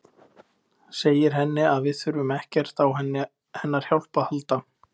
Segir henni að við þurfum ekkert á hennar hjálp að halda.